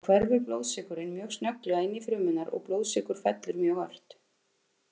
Þá hverfur blóðsykurinn mjög snögglega inn í frumurnar og blóðsykur fellur mjög ört.